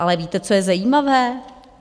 Ale víte, co je zajímavé?